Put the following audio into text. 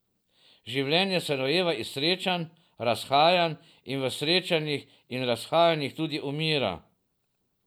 Življenje se rojeva iz srečanj, razhajanj in v srečanjih in razhajanjih tudi umira.